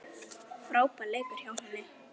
Frábær leikur hjá henni.